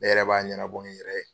Ne yɛrɛ b'a ɲɛnabɔ n yɛrɛ ye.